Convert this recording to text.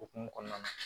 Okumu kɔnɔna na